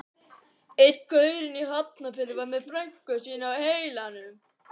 Einn gaurinn í Hafnarfirði var með frænku sína á heilanum.